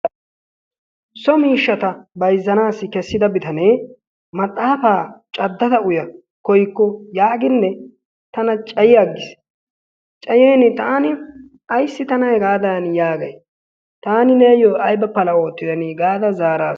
So miishshata bayzzanaassi kessida bitanee maxxaafaa caddada uya koyikko yaaginne tana cayiyaggiis. Cayiini taani ayssi tana hegaadaani yaagay, taani neeyyo ayba pala oottidana gaada zaaras.